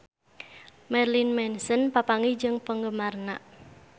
Marilyn Manson papanggih jeung penggemarna